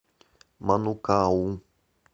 манукау